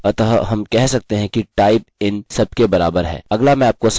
अतः हम कह सकते हैं कि type इन सब के बराबर है